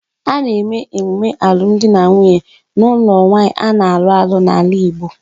A na-eme emume alum di na nwunye n'ulo nwaanyi a na-alu alu n'ala Igbo